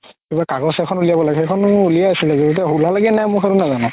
কিবা কাগজ এখন উলিয়াব লাগে সেইখন উলিয়াই আছিলে গে এতিয়া উলালে গে নাই মই সেইটো নাজানো